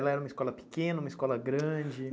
Ela era uma escola pequena, uma escola grande?